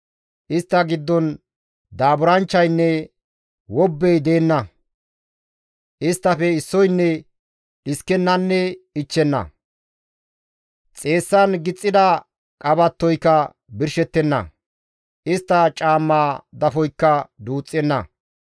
Istta giddon daaburanchchaynne wobbey deenna; Isttafe issoynne dhiskennanne ichchenna. Xeessan gixxida qabattoyka birshettenna; Istta caammaa dafoykka duuxxenna.